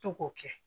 To k'o kɛ